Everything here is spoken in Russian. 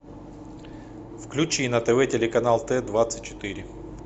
включи на тв телеканал т двадцать четыре